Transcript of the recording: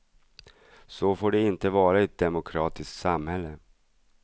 Så får det inte vara i ett demokratiskt samhälle.